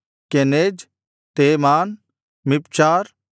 Kenaz ತೇಮಾನ್ ಮಿಪ್ಚಾರ್